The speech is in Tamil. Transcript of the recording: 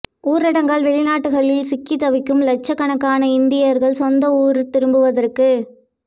ஊரடங்கால் வெளிநாடுகளில் சிக்கி தவிக்கும் லட்சக் கணக்கான இந்தியர்கள் சொந்த ஊர் திரும்புவதற்கு